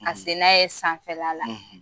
; Ka se n'a ye sanfɛla la;